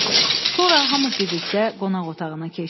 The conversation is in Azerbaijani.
Sonra hamı birlikdə qonaq otağına keçdi.